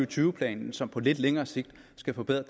tyve planen som på lidt længere sigt skal forbedre